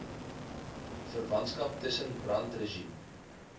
verwantskap tussen brandregime